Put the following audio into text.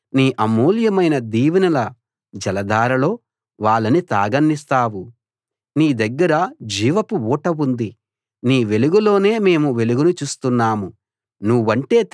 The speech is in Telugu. నీ మందిరపు సమృద్ధి వలన వాళ్ళు సంపూర్ణ సంతృప్తి పొందుతున్నారు నీ అమూల్యమైన దీవెనల జలధారలో వాళ్ళని తాగనిస్తావు